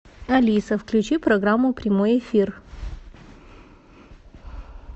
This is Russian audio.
алиса включи программу прямой эфир